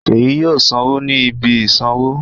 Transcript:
Ṣèyí yóò sanwó ní ibi ìsanwó.